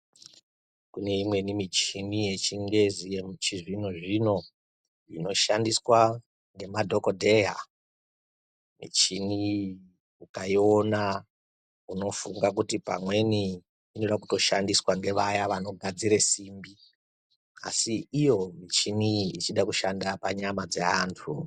Kune imweni michina yechingezi yemuchizvinozvino inoshandiswa ngemadhokodheya michini iyi ukaiona unofunga kuti pamweni michini iyi inoda kushandiswa ngevanogadzira simbi asi iyo michini ichida kutoshanda panyama dzevantu